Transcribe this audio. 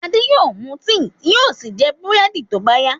Ade yóò mú tíì yóò sì jẹ búrẹ́dì tó bá yá.